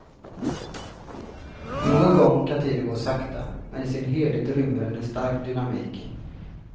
Någon gång kan tiden gå sakta, men i sin helhet rymmer den en stark dynamik.